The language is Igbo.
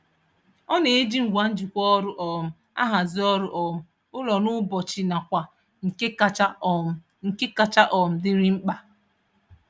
Ọ na-eji ngwa njikwa ọrụ um ahazi ọrụ um ụlọ n'ụbọchị nakwa nke kacha um nke kacha um dịrị mkpa.